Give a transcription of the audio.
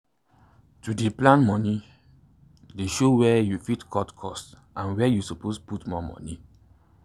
to dey plan moni dey show where you fit cut cost and where you suppose put more money.